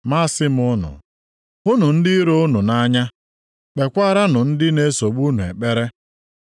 Ma asị m unu, hụnụ ndị iro unu nʼanya, kpekwaaranụ ndị na-esogbu unu ekpere.